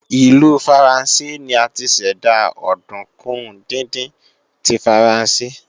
Ìlú Faransé ni a ti ṣẹ̀dá òdùnkún díndín tí Faransé